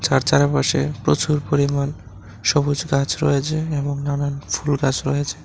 চার চারিপাশে প্রচুর পরিমাণ সবুজ গাছ রয়েছে এবং নানান ফুল গাছ রয়েছে।